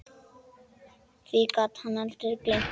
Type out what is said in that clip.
Því gat hann aldrei gleymt.